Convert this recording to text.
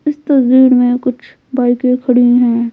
इस तस्वीर में कुछ बाइकें खड़ी हैं।